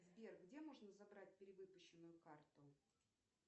сбер где можно забрать перевыпущенную карту